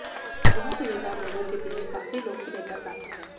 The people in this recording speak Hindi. यह सुविधा लोगों के बीच काफी लोकप्रियता प्राप्त है